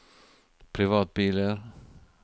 privatbiler